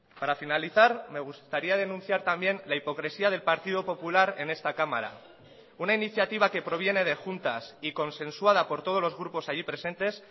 para finalizar me gustaría denunciar también la hipocresía del partido popular en esta cámara una iniciativa que proviene de juntas y consensuada por todos los grupos allí presentes